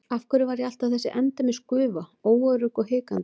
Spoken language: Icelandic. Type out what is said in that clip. Af hverju var ég alltaf þessi endemis gufa, óörugg og hikandi?